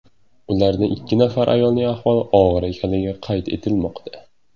Ulardan ikki nafar ayolning ahvoli og‘ir ekanligi qayd etilmoqda.